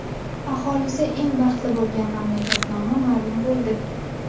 Aholisi eng baxtli bo‘lgan mamlakat nomi ma’lum bo‘ldi.